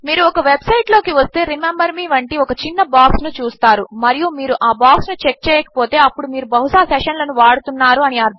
మీరు ఒక website లోకి వస్తే రిమెంబర్ మే వంటి ఒక చిన్న బాక్స్ ను చూస్తారు మరియు మీరు ఆ బాక్స్ ను చెక్ చేయకపోతే అప్పుడు మీరు బహుశా సెషన్ల ను వాడుతున్నారు అని అర్ధము